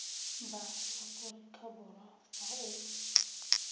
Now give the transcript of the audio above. ba aforika borwa fa o